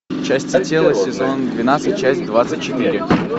части тела сезон двенадцать часть двадцать четыре